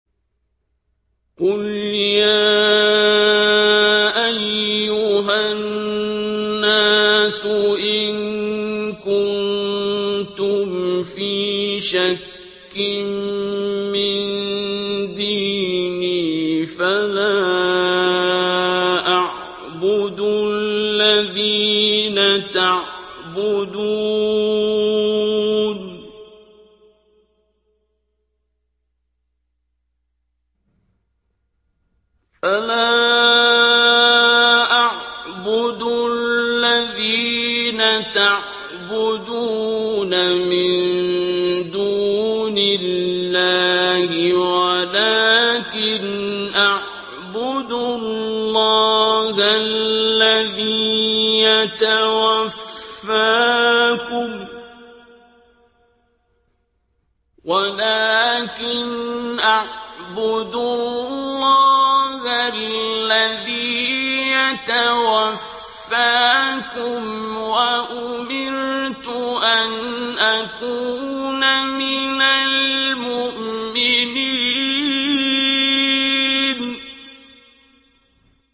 قُلْ يَا أَيُّهَا النَّاسُ إِن كُنتُمْ فِي شَكٍّ مِّن دِينِي فَلَا أَعْبُدُ الَّذِينَ تَعْبُدُونَ مِن دُونِ اللَّهِ وَلَٰكِنْ أَعْبُدُ اللَّهَ الَّذِي يَتَوَفَّاكُمْ ۖ وَأُمِرْتُ أَنْ أَكُونَ مِنَ الْمُؤْمِنِينَ